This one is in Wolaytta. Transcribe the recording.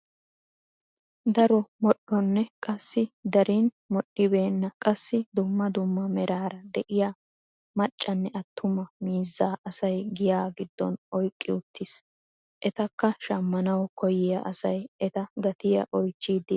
Daro moodhdho nne qassi darin modhdhibenna qassi dumma dumma meraara de'iyaa maccanne attuma miizzaa asay giyaa giddon oyqqi uttiis. etakka shammanawu koyyiyaa asay eta gatiyaa oychchidi de'ees.